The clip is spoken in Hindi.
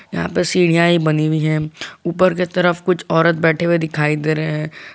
यहाँ पे सीढ़ियां ही बनी हुई है ऊपर के तरफ कुछ औरत बैठे हुए दिखाई दे रहे --